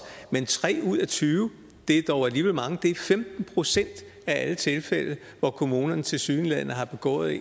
men tre ud af tyve er dog alligevel mange det er i femten procent af alle tilfælde at kommunerne tilsyneladende har begået